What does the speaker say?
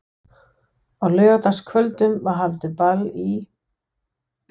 Á laugardagskvöldum var haldið ball í